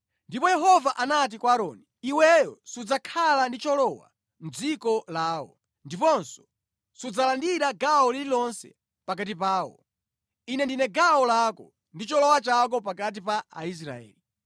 Ndipo Yehova anati kwa Aaroni, “Iweyo sudzakhala ndi cholowa mʼdziko lawo, ndiponso sudzalandira gawo lililonse pakati pawo. Ine ndine gawo lako ndi cholowa chako pakati pa Aisraeli.